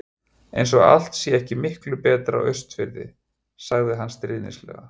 Eins og allt sé ekki miklu betra á Austurfirði. sagði hann stríðnislega.